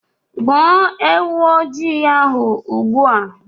Gbuo ewu ojii ahụ ugbu a.